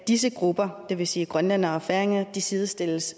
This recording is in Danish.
disse grupper det vil sige grønlændere og færinger sidestilles